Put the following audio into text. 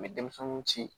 N bɛ denmisɛnninw ci